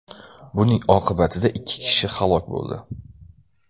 Buning oqibatida ikki kishi halok bo‘ldi .